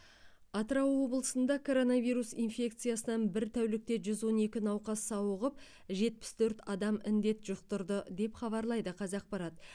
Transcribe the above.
атырау облысында коронавирус инфекциясынан бір тәулікте жүз он екі науқас сауығып жетпіс төрт адам індет жұқтырды деп хабарлайды қазақпарат